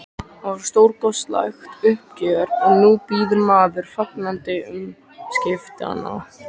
Það var stórkostlegt uppgjör og nú bíður maður fagnandi umskiptanna.